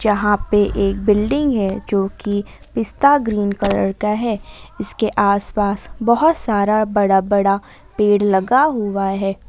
यहां पे एक बिल्डिंग है जो की पिस्ता ग्रीन कलर का है इसके आस पास बहोत सारा बड़ा बड़ा पेड़ लगा हुआ है।